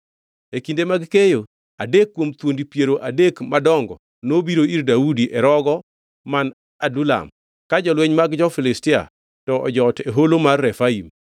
E kinde mag keyo, adek kuom thuondi piero adek madongo nobiro ir Daudi e rogo man Adulam, ka jolweny mag jo-Filistia to nojot e Holo mar Refaim.